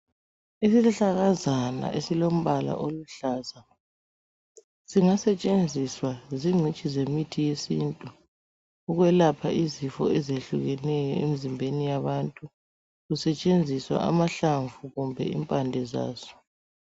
Isihlahlakazana esilombala oluhlaza singasetshenziswa zichitshi yemithi yesintu ukwelapha izifo ezehlukeneyo emzimbeni yabantu kusetshenziswa amamhlamvu kumbe impande zaso.